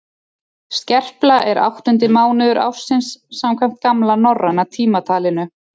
skerpla er áttundi mánuður ársins samkvæmt gamla norræna tímatalinu